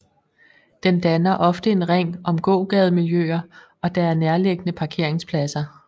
Den danner ofte en ring om gågademiljø og der er nærliggende parkeringspladser